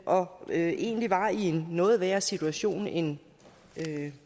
og egentlig var i en noget værre situation end